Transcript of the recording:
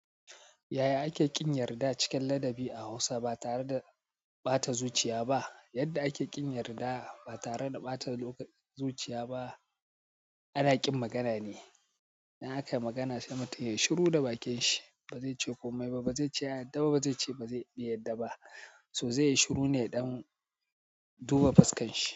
Yaya ake ƙin yarda cikin ladabi a Hausa ba tare da ɓata zuciya ba? Yadda ake ƙin yarda ba tare da ɓata zuciya ba, ana ƙin magana ne. In aka magana sai mutum ya yi shiru da bakin shi, ba zai ce komai ba, ba zai ce "ya yadda", ba zai ce "ba zai bai yadda" ba. To zai yi shiru ne ya dan duba fuskar shi.